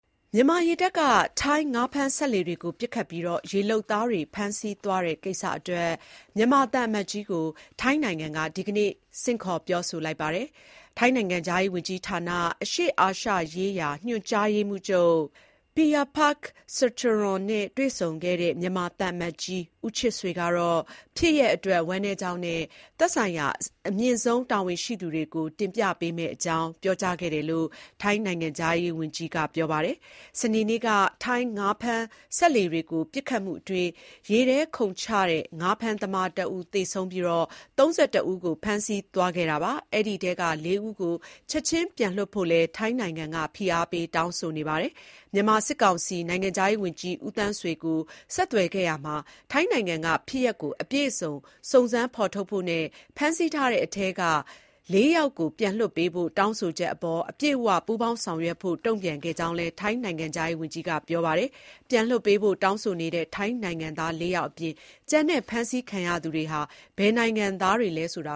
မြန်မာရေတပ်က ထိုင်းငါးဖမ်းစက်လှေတွေကို ပစ်ခတ်ပြီး၊ ရေလုပ်သားတွေ ဖမ်းဆီးသွားတဲ့ ကိစ္စအတွက် မြန်မာသံအမတ်ကြီးကို ထိုင်းနိုင်ငံက ဒီကနေ့ ဆင့်ခေါ်ပြောဆိုလိုက်ပါတယ်။ ထိုင်းနိုင်ငံခြားရေးဝန်ကြီးဌာန အရှေ့အာရှရေးရာ ညွှန်ကြားရေးမှူးချုပ် Piyapak Sricharoen နဲ့တွေ့ဆုံခဲ့တဲ့ မြန်မာသံအမတ်ကြီး ဦးချစ်ဆွေ ကတော့ ဖြစ်ရပ်အတွက် ဝမ်းနည်းကြောင်းနဲ့ သက်ဆိုင်ရာ အမြင့်ဆုံးတာဝန်ရှိသူတွေကို တင်ပြပေးမယ့်အကြောင်း ပြောကြားခဲ့တယ်လို့ ထိုင်းနိုင်ငံခြားရေးဝန်ကြီး Maris Sangiampongsa ကပြောပါတယ်။ စနေနေ့က ထိုင်းငါးဖမ်းစက်လှေတွေကို ပစ်ခတ်မှုအတွင်း ရေထဲခုန်ချတဲ့ ငါးဖမ်းသမားတဦး သေဆုံးပြီး၊ ၃၁ ဦးကို ဖမ်းဆီးသွားခဲ့တာပါ။ ဒီအထဲက ၄ ဦးကို ချက်ခြင်းပြန်လွှတ်ဖို့လည်း ထိုင်းနိုင်ငံက ဖိအားပေး တောင်းဆိုနေပါတယ်။ မြန်မာစစ်ကောင်စီ နိုင်ငံခြားရေးဝန်ကြီး ဦးသန်းဆွေကို ဆက်သွယ်ခဲ့ရာမှာ ထိုင်းနိုင်ငံက ဖြစ်ရပ်ကို အပြည့်အစ စုံစမ်းဖော်ထုတ်ဖို့နဲ့ ဖမ်းဆီးထားတဲ့အထဲက ၄ ယောက်ကို ပြန်လွှတ်ပေးဖို့ တောင်းဆိုချက်အပေါ် အပြည့်အ၀ ပူးပေါင်းဆောင်ရွက်ဖို့ တုံ့ပြန်ခဲ့ကြောင်းလည်း ထိုင်းနိုင်ငံခြားရေးဝန်ကြီးက ပြောဆိုထားပါတယ်။ ပြန်လွှတ်ပေးဖို့ တောင်းဆိုနေတဲ့ ထိုင်းနိုင်ငံသား ၄ ယောက်အပြင်၊ ကျန်တဲ့ ဖမ်းဆီးခံရသူတွေဟာ ဘယ်နိုင်ငံသားတွေလည်း ဆိုတ